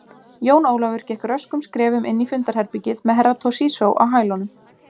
Jón Ólafur gekk röskum skrefum inn í fundarherbergið með Herra Toshizo á hælunum.